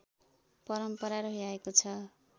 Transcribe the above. परम्परा रहिआएको छ